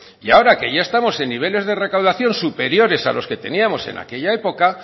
y ahora que ya estamos en niveles de recaudación superiores a los que teníamos en aquella época